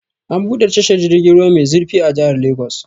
An buɗe tashar jirgin ruwa mai zurfi a jihar Lagos.